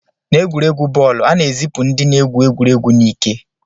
N'egwuregwu bọọlụ, a na-ezipụ ndị na-egwu egwuregwu n'ike